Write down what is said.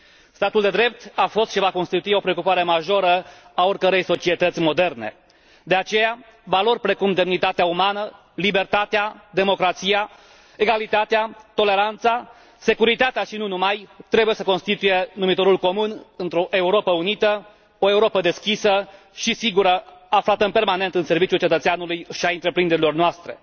Statul de drept a fost și va constitui o preocupare majoră a oricărei societăți moderne, de aceea valori precum demnitatea umană, libertatea, democrația, egalitatea, toleranța, securitatea și nu numai trebuie să constituie numitorul comun într o Europă unită, o Europă deschisă și sigură, aflată permanent în serviciul cetățeanului și a întreprinderilor noastre.